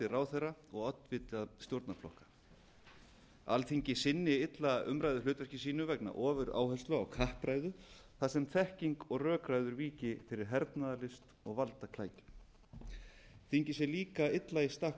ráðherra og oddvita stjórnarflokka alþingi sinni illa umræðuhlutverki sínu vegna ofuráherslu á kappræður þar sem þekking og rökræður víki fyrir hernaði og valdaklækjum þingið sé líka illa í stakk